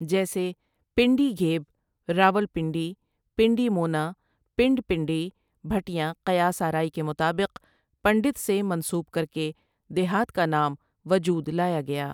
جیسے پنڈی گھیب راولپنڈی پنڈی مونا پنڈ پنڈی بھٹیاں قیاس آرائی کے مطابق پنڈت سے منسوب کرکے دیہات کا نام وجود لایا گیا ۔